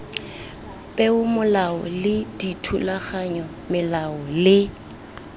peomolao le dithulaganyo melao le